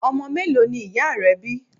Ọmọ mélòó ni ìyá rẹ bí.